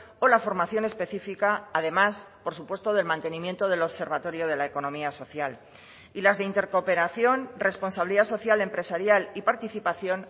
o la formación específica además por supuesto del mantenimiento del observatorio de la economía social y las de intercooperación responsabilidad social empresarial y participación